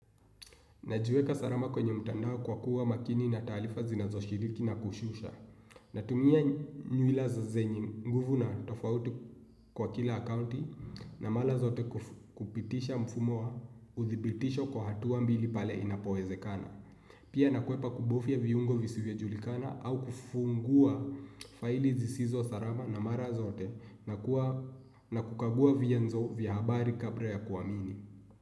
Najiweka salama kwenye mtandao kwa kuwa makini na taarifa zinazo shiriki na kushusha. Natumia nywila zenye nguvu na tofauti kwa kila akauti na mara zote kupitisha mfumo wa uthibitisho kwa hatuwa mbili pale inapowezekana. Pia nakwepa kubufia viungo visivyo julikana au kufungua faili zisizo salama na mara zote na kukagua vyenzo vya habari kabla ya kuamini.